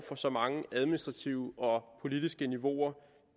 for så mange administrative og politiske niveauer